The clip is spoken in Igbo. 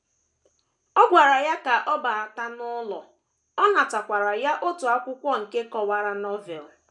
Ọ gwara ya ka ọ bata n’ụlọ, ọ natakwara otu akwụkwọ nke kọwara Novel.